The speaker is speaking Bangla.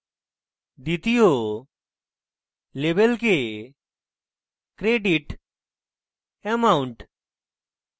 দ্বিতীয় label কে credit amount